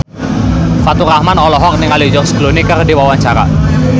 Faturrahman olohok ningali George Clooney keur diwawancara